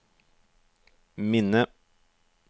minne